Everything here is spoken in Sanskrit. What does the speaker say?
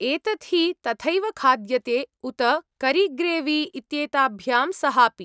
एतत् हि तथैव खाद्यते, उत करीग्रेवी इत्येताभ्यां सहापि।